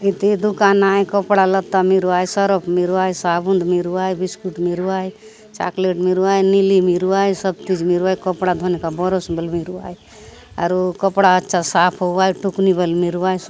इती दुकान आए कपड़ा लत्ता मिरवाए सरप मिरवाए साबुन मिरवाए बिस्कुट मिरवाए चॉकलेट मिरवाए नीली मिरवाए सब चीज़ मिरवाए कपड़ा धोने का ब्रश भी मिरवाए और वो कपड़ा अच्छा साफ़ हुआय टुकनी बल मिरवाए स --